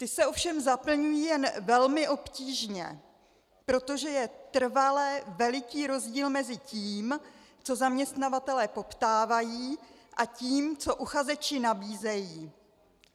Ta se ovšem zaplňují jen velmi obtížně, protože je trvale veliký rozdíl mezi tím, co zaměstnavatelé poptávají, a tím, co uchazeči nabízejí.